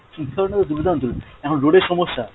চিন্তাধারা তো দুর্দান্ত, এখন road এর সমস্যা?